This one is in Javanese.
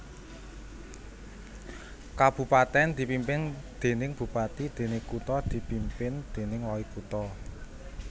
Kabupatèn dipimpin déning bupati déné kutha dipimpin déning walikutha